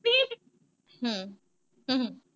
ਹਮ ਹੂੰ ਹੂੰ।